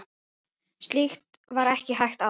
Slíkt var ekki hægt áður.